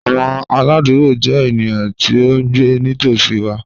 Awọn aladugbo jẹ eniyan ti o ngbe nitosi wa